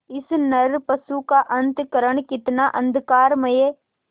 इस नरपशु का अंतःकरण कितना अंधकारमय